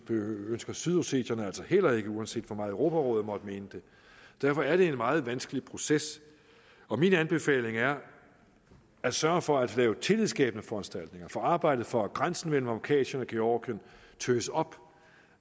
det ønsker sydossetierne altså heller ikke uanset hvor meget europarådet måtte mene det derfor er det en meget vanskelig proces og min anbefaling er at sørge for at lave tillidsskabende foranstaltninger få arbejdet for at grænsen mellem kaukasien og georgien tøs op